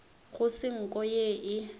go se nko ye e